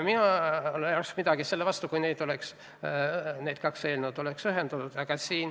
Minul ei oleks olnud midagi selle vastu, kui need kaks eelnõu oleks ühendatud.